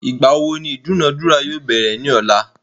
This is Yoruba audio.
Ìgbà wo ni ìdúnadúrà yóò bẹ̀rẹ̀ ní ọ̀la?